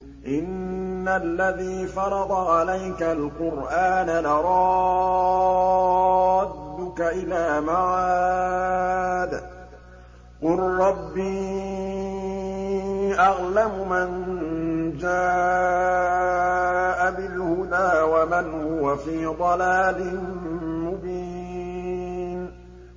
إِنَّ الَّذِي فَرَضَ عَلَيْكَ الْقُرْآنَ لَرَادُّكَ إِلَىٰ مَعَادٍ ۚ قُل رَّبِّي أَعْلَمُ مَن جَاءَ بِالْهُدَىٰ وَمَنْ هُوَ فِي ضَلَالٍ مُّبِينٍ